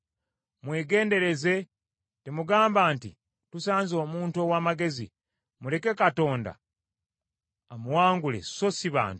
Mwegendereze temugamba nti, ‘Tusanze omuntu ow’amagezi; muleke Katonda amuwangule so si bantu.’